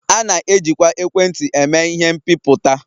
A na-ejikwa ekwentị eme ihe mbipụta